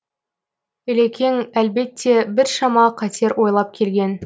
ілекең әлбетте біршама қатер ойлап келген